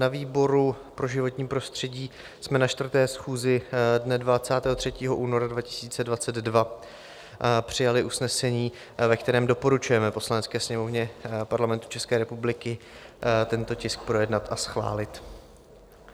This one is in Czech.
Na výboru pro životní prostředí jsme na 4. schůzi dne 23. února 2022 přijali usnesení, ve kterém doporučujeme Poslanecké sněmovně Parlamentu České republiky tento tisk projednat a schválit.